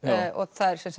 það er